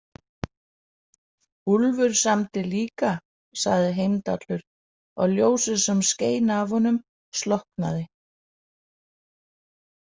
Úlfur samdi líka, sagði Heimdallur og ljósið sem skein af honum slokknaði.